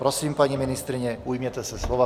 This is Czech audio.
Prosím, paní ministryně, ujměte se slova.